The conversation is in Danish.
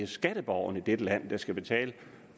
skatteborgerne i dette land der skal betale